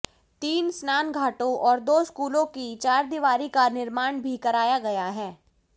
तीन स्नानघाटों और दो स्कूलों की चहारदीवारी का निर्माण भी कराया गया है